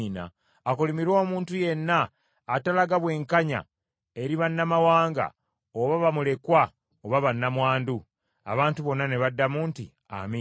“Akolimirwe omuntu yenna atalaga bwenkanya eri bannamawanga, oba bamulekwa oba bannamwandu.” Abantu bonna ne baddamu nti, “Amiina.”